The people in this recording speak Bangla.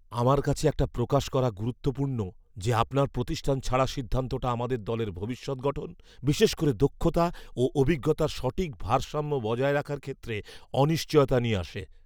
আমার কাছে এটা প্রকাশ করা গুরুত্বপূর্ণ যে আপনার প্রতিষ্ঠান ছাড়ার সিদ্ধান্তটা আমাদের দলের ভবিষ্যৎ গঠন, বিশেষ করে দক্ষতা ও অভিজ্ঞতার সঠিক ভারসাম্য বজায় রাখার ক্ষেত্রে অনিশ্চয়তা নিয়ে আসে।